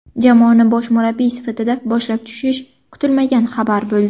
Jamoani bosh murabbiy sifatida boshlab tushish kutilmagan xabar bo‘ldi.